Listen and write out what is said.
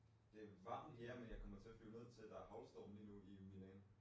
Det varmt ja, men jeg kommer ned at flyve ned til der er haglstorm lige nu jo i Milano